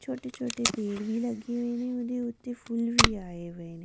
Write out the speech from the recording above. ਛੋਟੇ-ਛੋਟੇ ਪੇੜ੍ਹ ਵੀ ਲੱਗੇ ਹੋਏ ਨੇ ਉਹਦੇ ਉੱਤੇ ਫੁੱਲ ਵੀ ਆਏ ਹੋਏ ਨੇ।